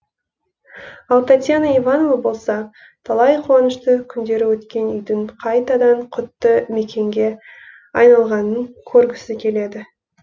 ал татьяна иванова болса талай қуанышты күндері өткен үйдің қайтадан құтты мекенге айналғанын көргісі келеді